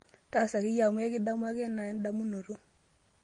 taasa ake iyie amuu ekidamu ake enaa endamunoto